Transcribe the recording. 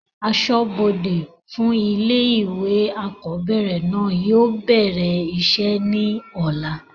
asọ́bọdè fún ilé ìwé àkọ́bẹ̀rẹ̀ náà yóò bẹ̀rẹ̀ isẹ́ ní ọ̀la